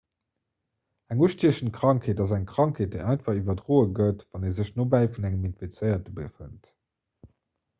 eng ustiechend krankheet ass eng krankheet déi einfach iwwerdroe gëtt wann ee sech nobäi vun engem infizéierte befënnt